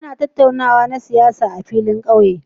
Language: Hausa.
Ana tattaunawa na siyasa a filin ƙauye.